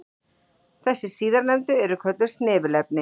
Þessi síðarnefndu eru kölluð snefilefni.